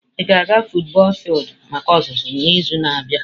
Ị ga-aga futubọọl fildu maka ọzụzụ n'izu na-abịa?